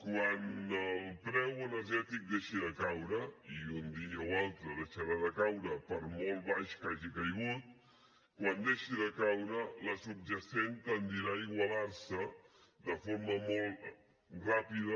quan el preu energètic deixi de caure i un dia o altre deixarà de caure per molt baix que hagi caigut quan deixi de caure la subjacent tendirà a igualar se de forma molt ràpida